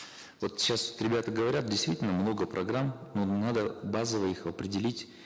вот сейчас ребята говорят действительно много программ но надо базово их определить